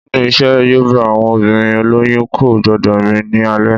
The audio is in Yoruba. Nínu ìṣe yoòbá, àwọn obìnrin olóyún kò gbọdọ̀ rìn ní alẹ́